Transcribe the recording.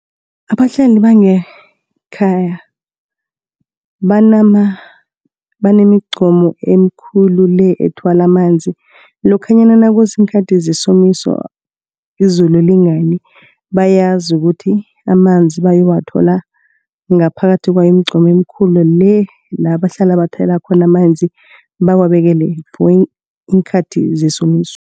Abahlali bangekhaya , banemigqomu emikhulu le ethwala amanzi. Lokhanyana nakuziinkhathi zesomiso izulu lingani. Bayazi ukuthi amanzi bayowathola ngaphakathi kwemigqomu emikhulu le labahlala bathela khona amanzi abawubekele iinkhathi zesomiso.